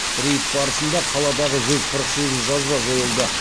рейд барысында қаладағы жүз қырық сегіз жазба жойылды